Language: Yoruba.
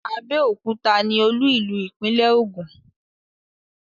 Abẹ́òkúta ní olú-ìlú ìpínlẹ̀ Ogun.